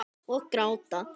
Og gráta.